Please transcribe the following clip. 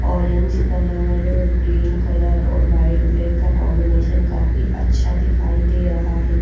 Orange colour green colour और white black का combination काफी अच्छा दिखाई दे रहा है।